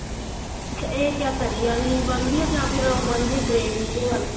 ਅੱਛਾ ਇਹ ਕਿਆ ਤਰੀ ਵਾਲੀ ਬਣਦੀ ਏ ਜਾਂ ਫੇਰ ਉਹ ਬਣਦੀ ਏ gravy ਦੇ ਵੱਲ